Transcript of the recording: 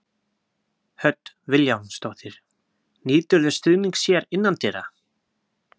Hödd Vilhjálmsdóttir: Nýturðu stuðnings hér innandyra?